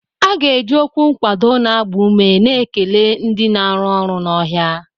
A ga-eji okwu nkwado na-agba ume na-ekele ndị na-arụ ọrụ n'ọhịa